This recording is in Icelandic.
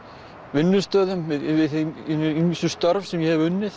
vinnustöðum við hin ýmsu störf sem ég hef unnið